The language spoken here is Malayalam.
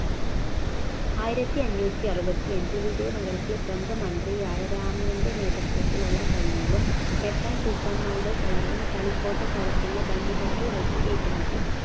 ആയിരത്തിയഞ്ഞൂത്തിയറുപത്തിയഞ്ച് വിജയ നഗരത്തിലെ പ്രമുഖ മന്ത്രിയായ രാമയൻറെ നേതൃത്വത്തിലുള്ള സൈന്യവും ഡക്കാൻ സുൽത്താന്മാരുടെ സൈന്യവും തളിക്കോട്ടക്കടുത്തുള്ള ബന്യഹട്ടിൽ വെച്ച് ഏറ്റുമുട്ടി